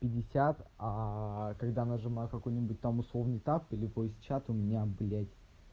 пятьдесят а когда нажимаю какую-нибудь там условный так или по чату меня блять